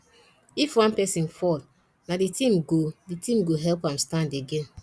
if one person fall na the team go the team go help am stand again